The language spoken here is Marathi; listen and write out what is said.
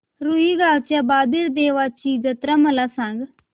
रुई गावच्या बाबीर देवाची जत्रा मला सांग